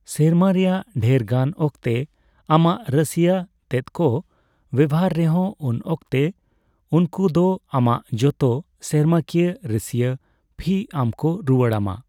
ᱥᱮᱨᱢᱟ ᱨᱮᱭᱟᱜ ᱰᱷᱮᱨᱜᱟᱱ ᱚᱠᱛᱮ ᱟᱢᱟᱜ ᱨᱟᱹᱥᱭᱟᱹ ᱛᱮᱫ ᱠᱚ ᱵᱮᱣᱦᱟᱨ ᱨᱮᱦᱚᱸ ᱩᱱ ᱚᱠᱛᱮ ᱩᱱᱠᱩ ᱫᱚ ᱟᱢᱟᱜ ᱡᱚᱛᱚ ᱥᱮᱨᱢᱟᱠᱤᱭᱟᱹ ᱨᱟᱹᱥᱭᱟᱹ ᱯᱷᱤ ᱟᱢᱠᱚ ᱨᱩᱭᱟᱹᱲ ᱟᱢᱟ ᱾